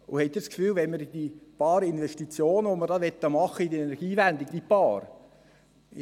Haben Sie das Gefühl, wenn wir die paar Investitionen, die wir in die Energiewende tätigen möchten ...